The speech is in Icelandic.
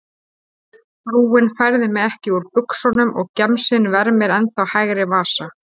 Frúin færði mig ekki úr buxunum og gemsinn vermir ennþá hægri vasa.